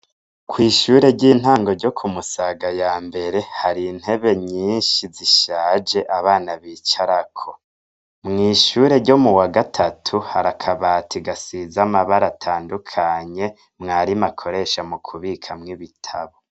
Kw'ishure ry'intango ryo ku Musaga ya mbere, hari intebe nyinshi zishaje, abana bicarako. Mw'ishure ryo mu wagatatu, hari akabati gasize amabara atandukanye mwarimu akoresha mukubikamwo ibitabo.